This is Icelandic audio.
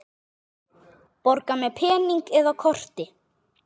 Borga með pening eða korti?